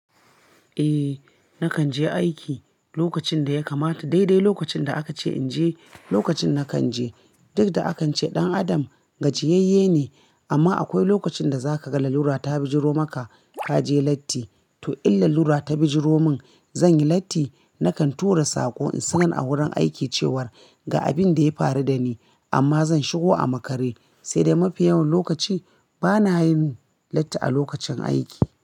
Eh nakan je aiki lokacin da ya kamata, dai dai lokacin da aka ce in je lokacin nakan je. Duk da a kan ce ɗan adam gajiyayye ne amma akwai lokacin da zaka ga lalura ta bijiro maka ka je latti. To in lalura ta bijiro min zan yi latti nakan tura saƙo in sanar a wurin aiki cewar ga abin da ya faru dani amma zan shigo a makare. Sai dai mafi yawan lokaci bana yin latti a lokacin aiki.